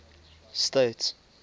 states